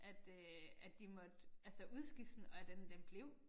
At øh at de måtte altså udskifte den og den den blev